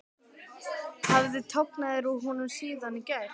Hafði tognað úr honum síðan í gær?